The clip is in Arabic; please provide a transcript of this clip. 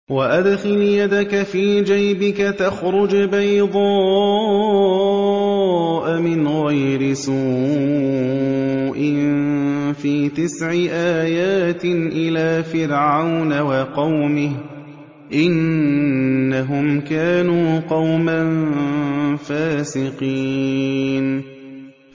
وَأَدْخِلْ يَدَكَ فِي جَيْبِكَ تَخْرُجْ بَيْضَاءَ مِنْ غَيْرِ سُوءٍ ۖ فِي تِسْعِ آيَاتٍ إِلَىٰ فِرْعَوْنَ وَقَوْمِهِ ۚ إِنَّهُمْ كَانُوا قَوْمًا فَاسِقِينَ